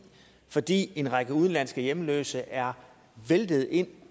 fordi en række udenlandske hjemløse er væltet ind